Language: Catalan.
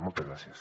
moltes gràcies